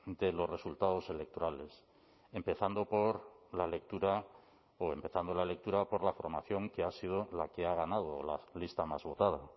de los resultados electorales empezando por la lectura o empezando la lectura por la formación que ha sido la que ha ganado la lista más votada